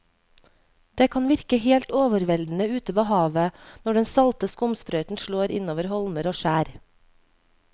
Det kan virke helt overveldende ute ved havet når den salte skumsprøyten slår innover holmer og skjær.